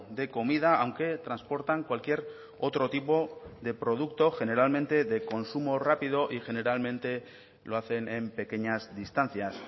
de comida aunque transportan cualquier otro tipo de producto generalmente de consumo rápido y generalmente lo hacen en pequeñas distancias